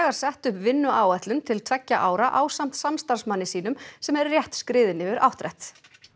sett upp vinnuáætlun til tveggja ára ásamt samstarfsmanni sínum sem er rétt skriðinn yfir áttrætt